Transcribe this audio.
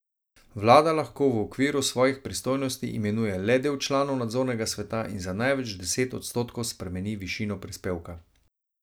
Vlada lahko v okviru svojih pristojnosti imenuje le del članov nadzornega sveta in za največ deset odstotkov spremeni višino prispevka.